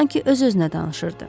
Sanki öz-özünə danışırdı.